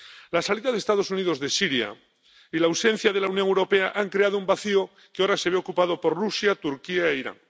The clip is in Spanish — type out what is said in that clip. La salida de los Estados Unidos de Siria y la ausencia de la Unión Europea han creado un vacío que ahora se ve ocupado por Rusia, Turquía e Irán.